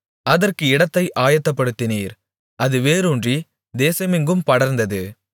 அதற்கு இடத்தை ஆயத்தப்படுத்தினீர் அது வேரூன்றி தேசமெங்கும் படர்ந்தது